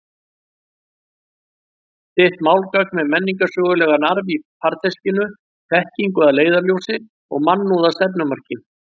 Þitt málgagn með menningarsögulegan arf í farteskinu, þekkingu að leiðarljósi og mannúð að stefnumarki.